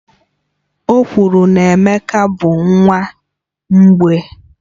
Okwuru na Emeka bụ nwa mgbei